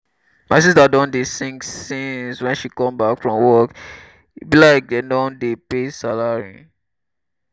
my sista don dey sing since wen she come back from work. e be like dem don pay dem salary.